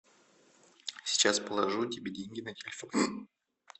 сейчас положу тебе деньги на телефон